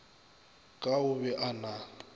ka o be a na